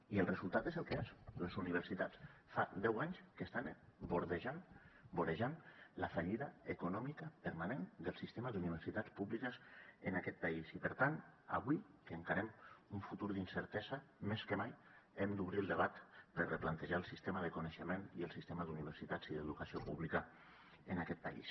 i el resultat és el que és les universitats fa deu anys que estan vorejant la fallida econòmica permanent del sistema d’universitats públiques en aquest país i per tant avui que encarem un futur d’incertesa més que mai hem d’obrir el debat per replantejar el sistema de coneixement i el sistema d’universitats i d’educació pública en aquest país